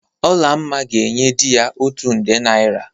Olamma ga-enye di ya otu nde naịra.